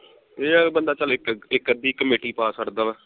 ਇਹ ਆ ਬੰਦਾ ਚੱਲ ਇਕ ਇਕ ਅੱਧੀ ਕਮੇਟੀ ਪਾ ਛੜਦਾ ਵਾ